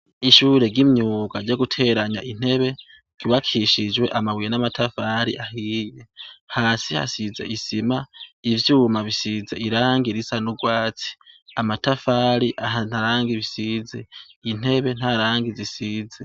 Ishure ry'imyuga ryo guteranya intebe ryubakishijwe amabuye n'amatafari ahiye. Hasi hasizwe isima, ivyuma bisizwe irangi risa n'ugwatsi. Amatafari ahantu ari nta rangi risize. intebe nta rangi zisize.